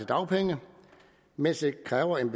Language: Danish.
dagpenge mens det kræver en